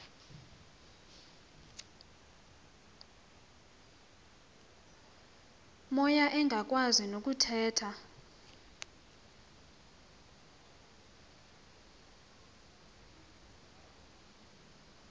moya engakwazi nokuthetha